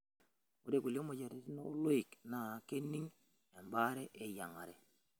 Ore kulie moyiaritin ooloik naa kening' embaare eyiang'are.